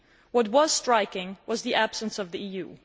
What was striking was the absence of the EU.